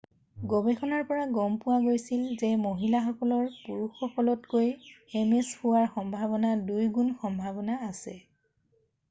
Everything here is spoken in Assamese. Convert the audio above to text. গৱেষণাৰ পৰা গম পোৱা গৈছিল যে মহিলাসকলৰ পুৰুষসকলতকৈ ms হোৱা সম্ভাৱনা 2 গুণ সম্ভাৱনা আছে৷